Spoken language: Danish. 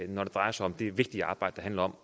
når det drejer sig om det vigtige arbejde der handler om